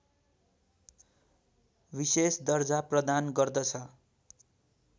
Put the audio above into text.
विशेष दर्जा प्रदान गर्दछ